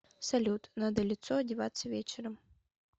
салют надо лицо одеваться вечером